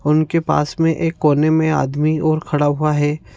उनके पास में एक कोने में आदमी और खड़ा हुआ है।